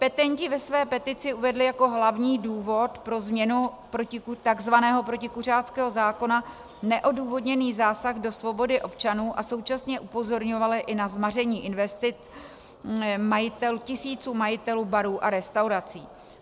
Petenti ve své petici uvedli jako hlavní důvod pro změnu takzvaného protikuřáckého zákona neodůvodněný zásah do svobody občanů a současně upozorňovali i na zmaření investic tisíců majitelů barů a restaurací.